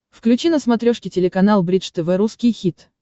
включи на смотрешке телеканал бридж тв русский хит